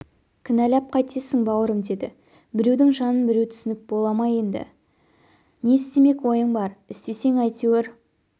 кінәлап қайтесің бауырым деді біреудің жанын біреу түсініп бола ма енді істемек ойың бар істесең әйтеуір